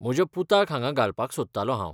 म्हज्या पुताक हांगा घालपाक सोदतालों हांव.